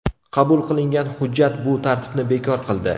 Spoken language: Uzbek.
Qabul qilingan hujjat bu tartibni bekor qildi.